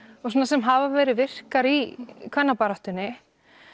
sem hafa verið virkar í kvennabaráttunni